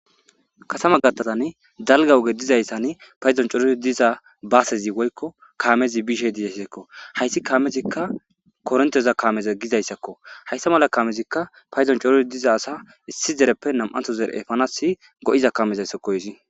Kasama gattazan dalga woge dizayssan payzon coror diza baasezi woykko kaamezi bishe dizaysekko hayssi kaamezikka koronteza kaameza gizayssakko hayssa mala kaamezikka payzon coror diza asa issi zereppe nam7antho zere7efanas go7iza kaamezaysakoesi